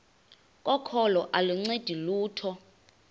kokholo aluncedi lutho